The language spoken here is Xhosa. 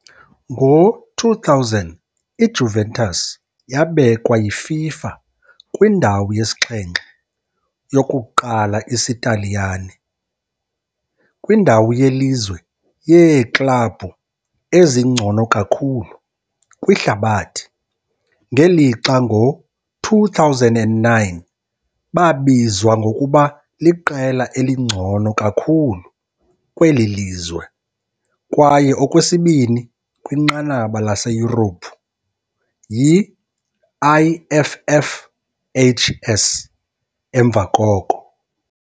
Ngo-2000 iJuventus yabekwa yiFIFA kwindawo yesixhenxe, yokuqala isiTaliyane, kwindawo yelizwe yeeklabhu ezingcono kakhulu kwihlabathi, ngelixa ngo-2009 babizwa ngokuba liqela elingcono kakhulu kweli lizwe kwaye okwesibini kwinqanaba laseYurophu yi-IFFHS, emva koko.